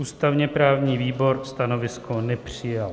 Ústavně-právní výbor stanovisko nepřijal.